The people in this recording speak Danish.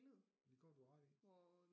Det kan godt være du har ret i